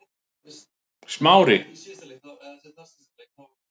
Smári